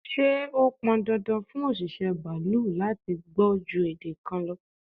Ṣé ó pọn dandan fún òṣìṣẹ́ baalú láti gbọ́ ju èdè kan lọ?